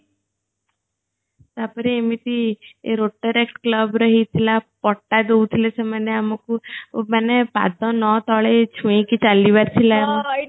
ତାପରେ ଏମିତି ଏ rotaract club ର ହେଇଥିଲା ପଟ୍ଟା ଦୋଉଥିଲେ ସେମାନେ ଆମକୁ ମାନେ ପାଦ ନ ତଳେ ଛୁଇଁ କି ଚାଲିବାର ଥିଲା